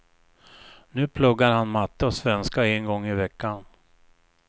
Nu pluggar han matte och svenska en gång i veckan.